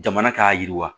Jamana k'a yiriwa